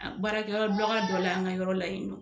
A baarakɛyɔrɔ baga dɔ la an ka yɔrɔ la yen nɔ